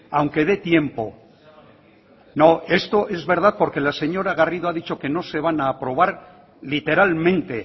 aunque de tiempo no esto es verdad porque la señora garrido ha dicho que no se van a aprobar literalmente